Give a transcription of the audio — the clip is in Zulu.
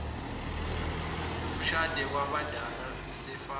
umshade kwabadala usafana